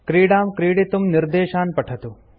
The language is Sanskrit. क्रीडां क्रीडितुं निर्देशान् पठतु